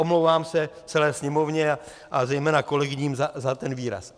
Omlouvám se celé Sněmovně a zejména kolegyním za ten výraz.